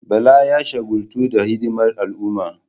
Bala ya shagaltu da hidimar al'umma.